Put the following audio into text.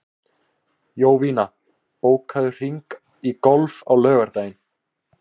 Jovina, bókaðu hring í golf á laugardaginn.